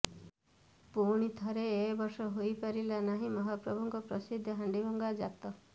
ପୁଣି ଥରେ ଏ ବର୍ଷ ହୋଇ ପାରିଲା ନାହିଁ ମହାପ୍ରଭୁଙ୍କ ପ୍ରସିଦ୍ଧ ହାଣ୍ଡିଭଙ୍ଗା ଜାତ